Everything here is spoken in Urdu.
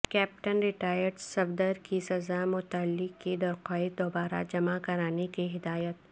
کیپٹن ریٹائرڈ صفدر کی سزا معطلی کی درخواست دوبارہ جمع کرانے کی ہدایت